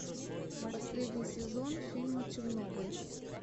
последний сезон фильма чернобыль